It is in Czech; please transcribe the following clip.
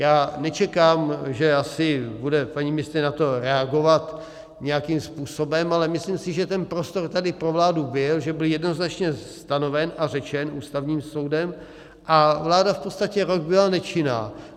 Já nečekám, že asi bude paní ministryně na to reagovat nějakým způsobem, ale myslím si, že ten prostor tady pro vládu byl, že byl jednoznačně stanoven a řečen Ústavním soudem, a vláda v podstatě rok byla nečinná.